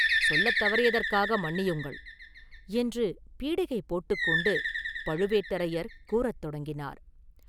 சொல்லத் தவறியதற்காக மன்னியுங்கள்” என்று பீடிகை போட்டுக் கொண்டு பழுவேட்டரையர் கூறத் தொடங்கினார்.